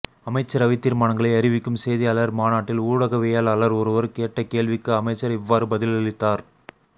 அமைச்சரவை தீர்மானங்களை அறிவிக்கும் செய்தியாளர் மாநாட்டில் ஊடகவியலாளர் ஒருவர் கேட்ட கேள்விக்கு அமைச்சர் இவ்வாறு பதிலளித்தார்